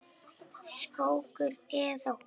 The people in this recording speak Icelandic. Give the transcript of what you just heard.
Skógur eða hús?